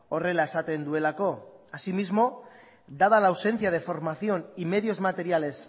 horrela esaten duelako asimismo dada la ausencia de formación y medios materiales